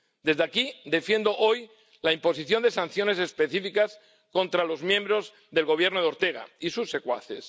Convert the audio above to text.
Desde aquí defiendo hoy la imposición de sanciones específicas contra los miembros del Gobierno de Ortega y sus secuaces.